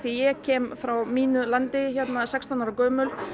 ég kem frá mínu landi sextán ára gömul